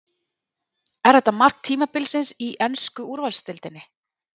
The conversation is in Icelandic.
Er þetta mark tímabilsins í ensku úrvalsdeildinni?